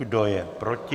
Kdo je proti?